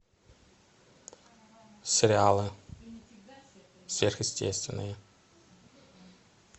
сериалы сверхъестественные